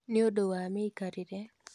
Nĩũndũ wa mĩikarĩre,